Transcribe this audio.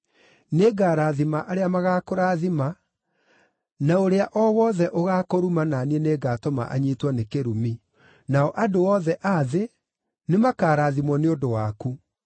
Nĩngarathima arĩa magaakũrathima, na ũrĩa o wothe ũgaakũruma na niĩ nĩngatũma anyiitwo nĩ kĩrumi; nao andũ othe a thĩ nĩmakarathimwo nĩ ũndũ waku.”